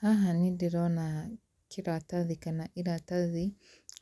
Haha nĩ ndĩrona kĩratathi kana irathathi